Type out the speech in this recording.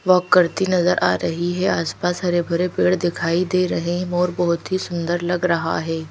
Walk करती नजर आ रही है आसपास हरे भरे पेड़ दिखाई दे रहे हैं मोर बहुत ही सुंदर लग रहा है।